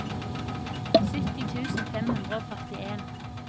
sytti tusen fem hundre og førtien